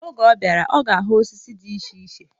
Oge ọ bịara, ọ ga-ahụ osisi dị iche iche